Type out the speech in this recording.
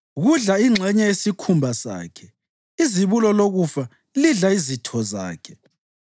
Kudla ingxenye yesikhumba sakhe; izibulo lokufa lidla izitho zakhe.